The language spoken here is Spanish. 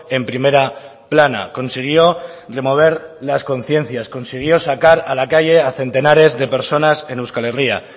en primera plana consiguió remover las conciencias consiguió sacar a la calle a centenares de personas en euskal herria